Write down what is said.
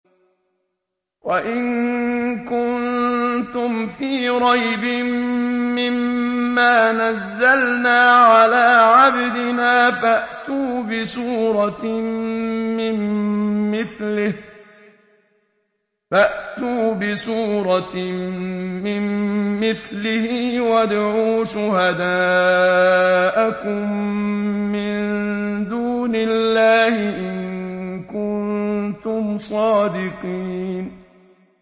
وَإِن كُنتُمْ فِي رَيْبٍ مِّمَّا نَزَّلْنَا عَلَىٰ عَبْدِنَا فَأْتُوا بِسُورَةٍ مِّن مِّثْلِهِ وَادْعُوا شُهَدَاءَكُم مِّن دُونِ اللَّهِ إِن كُنتُمْ صَادِقِينَ